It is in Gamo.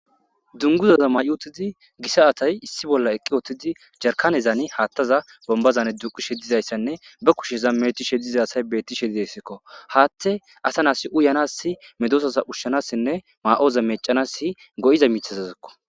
Dunguzata mayi utidi diza asayi issi bolla eqid utidi , yarakanezan hathaza bombazan diqizaysanne be kusheza mecishe diza asayi beetishe de'esko. Hathey asa nata uyanasi, medosata ushanasi mayoza mecanasi madiza mashizako.